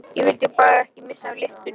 Ég vildi bara ekki missa af lyftunni!